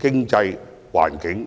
經濟環境。